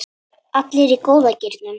Allir í góða gírnum.